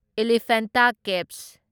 elephant caves